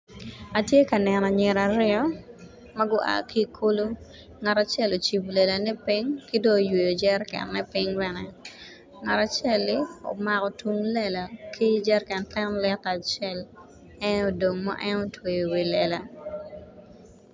Atye ka neno anyira aryo ma gua ki i kulu ngat acel ocibo lelane piny ki dong oyweyo jerekenne piny bene, ngat acel-li omako tung lela ki jereken ten lita acel en aye odong ma en otweyo iwi lela